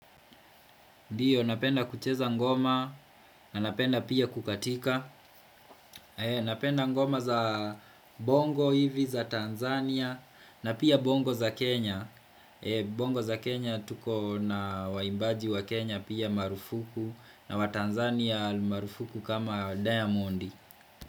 Ndio napenda kucheza ngoma na napenda pia kukatika. Napenda ngoma za bongo hivi za Tanzania na pia bongo za Kenya. Bongo za Kenya tuko na waimbaji wa Kenya pia marufuku na wa Tanzania marufuku kama diamondi.